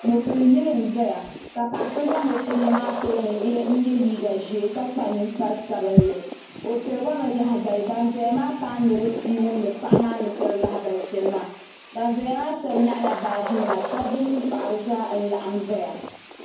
Mo pili yili n ʒiya ka paɣi so za mo pili maa tooni n yɛ liiga zee ka kpa niŋkpari sabinli o tiriba mi laha bali ban zɛya maa ni paa niribi pia n wumdi paɣa maa ni tri laha bal shɛli maa ban zɛya nyaɣila baajinima dab bi mini paɣa zaa n laɣim zɛya